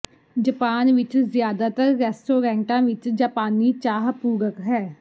Japan ਵਿਚ ਜ਼ਿਆਦਾਤਰ ਰੈਸਟੋਰੈਂਟਾਂ ਵਿਚ ਜਾਪਾਨੀ ਚਾਹ ਪੂਰਕ ਹੈ